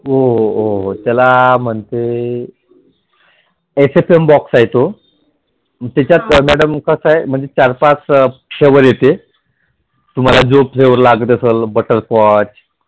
हो हो त्याला म्हणते HFM box आहे तो. मग त्याच्यात madam कसं आहे. म्हणजे चार पाच येते. तुम्हाला जो flavor लागत असेल butterscotch